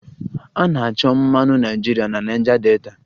A na-achọta mmanụ naịjirịa na Niger Delta